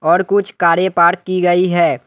और कुछ कारे पार्क की गई है।